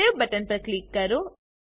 save button પર click કરો